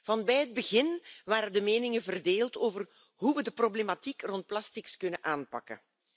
Van bij het begin waren de meningen verdeeld over hoe we de problematiek rond plastics kunnen aanpakken.